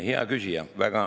Hea küsija!